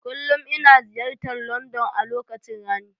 Kullum ina ziyartar London a lokacin rani.